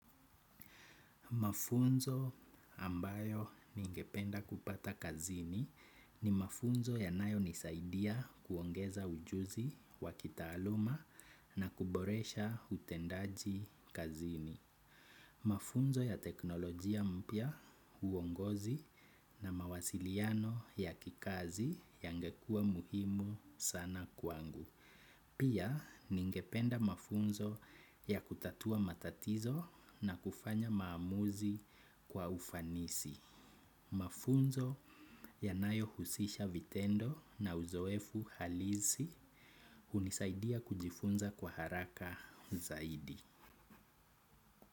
Mafunzo ambayo ningependa kupata kazini ni mafunzo yanayo nisaidia kuongeza ujuzi wakitaaluma na kuboresha utendaji kazini. Mafunzo ya teknolojia mpya uongozi na mawasiliano ya kikazi yangekua muhimu sana kwangu. Pia ningependa mafunzo ya kutatua matatizo na kufanya maamuzi kwa ufanisi. Mafunzo yanayo husisha vitendo na uzoefu halisi hunisaidia kujifunza kwa haraka zaidi.